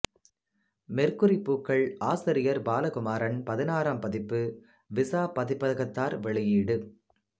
மெர்க்குரிப் பூக்கள் ஆசிரியர் பாலகுமாரன் பதினாறாம் பதிப்பு விசா பதிப்பதகத்தார் வெளியீடு